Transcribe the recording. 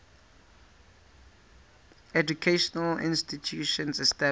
educational institutions established